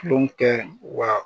wa